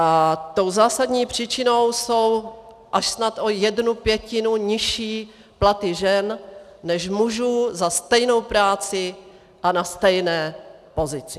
A tou zásadní příčinou jsou až snad o jednu pětinu nižší platy žen než mužů za stejnou práci a na stejné pozici.